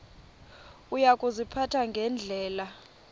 uya kuziphatha ngendlela